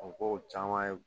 U ko caman ye